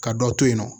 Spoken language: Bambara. Ka dɔ to yen nɔ